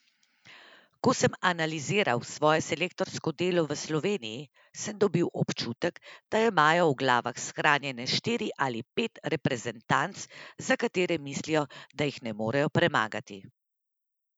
Ko sem analiziral svoje selektorsko delo v Sloveniji, sem dobil občutek, da imajo v glavah shranjene štiri ali pet reprezentanc, za katere mislijo, da jih ne morejo premagati.